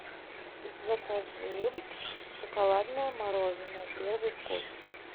закажи шоколадное мороженое первый вкус